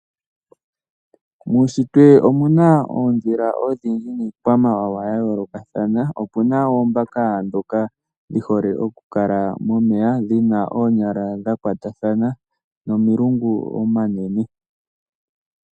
Muunshitwe omu na oondhila odhindji niikwamawawa ya yoolokathana, opu na oombaka ndhoka dhi hole okukala momeya dhi na oonyala dha kwatathana nomalungu omanene.